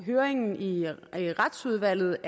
høringen i retsudvalget